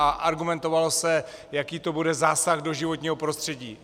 A argumentovalo se, jaký to bude zásah do životního prostředí.